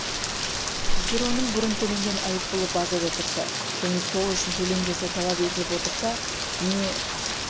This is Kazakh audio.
егер оның бұрын төлеген айыппұлы базада тұрса және сол үшін төлем жасау талап етіліп отырса не